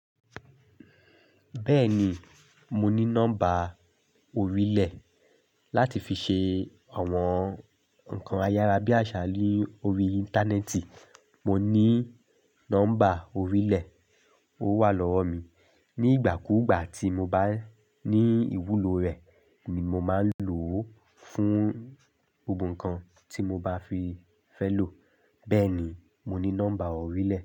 Bẹ́ẹ̀ni, mo ní nọ́mbà orílẹ̀ láti fi ṣe àwọn nǹkan ayárabíàṣá ni órí Íńtánẹ́ẹ̀tì. Mo ní nọ́mbà orílẹ̀, ó wà lọ́wọ́ mi. Ní ìgbà kúùgbà tí mo bá ní ìwúlò rẹ̀ ni mo máa ń lò ó fún gbogbo nǹkan tí mo bá fi fẹ́ lò. Bẹ́ẹ̀ni, mo ní nọ́mbà orílẹ̀